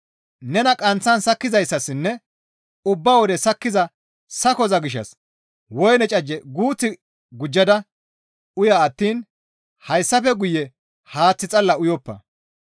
Nena qanththan sakkizayssassinne ubba wode sakkiza sakoza gishshas woyne cajjefe guuth gujjada uya attiin hayssafe guye haaththe xalla uyoppa.